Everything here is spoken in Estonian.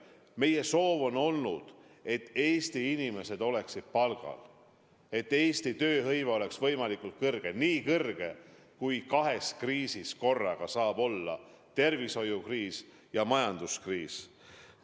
Meie soov on olnud, et Eesti inimesed oleksid palgal, et Eesti tööhõive oleks võimalikult kõrge, nii kõrge, kui kahes kriisis korraga saab olla: tervishoiukriisis ja majanduskriisis.